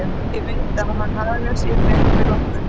Ég veit að hann hagar sér vel fyrir okkur.